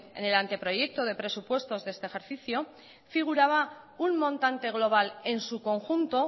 en el anteproyecto de presupuestos de este ejercicio figuraba un montante global en su conjunto